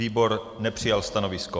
Výbor nepřijal stanovisko.